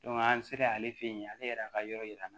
an sera ale fɛ yen ale yɛrɛ ka yɔrɔ yira la